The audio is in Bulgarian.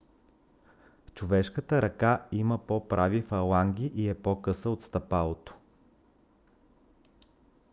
човешката ръка има по-прави фаланги и е по-къса от стъпалото